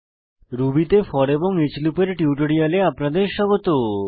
Ruby তে for এবং each লুপের টিউটোরিয়ালে আপনাদের স্বাগত